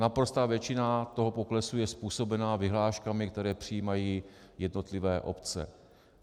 Naprostá většina toho poklesu je způsobena vyhláškami, které přijímají jednotlivé obce.